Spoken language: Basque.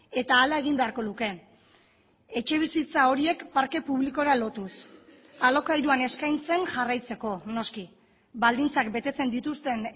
eta hala egin beharko luke etxebizitza horiek parke publikora lotuz alokairuan eskaintzen jarraitzeko noski baldintzak betetzen dituzten